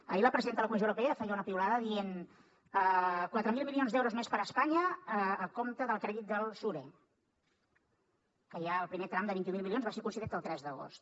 ahir la presidenta de la comissió europea feia una piulada dient quatre mil milions d’euros més per a espanya a compte del crèdit del sure que ja el primer tram de vint mil milions va ser concedit el tres d’agost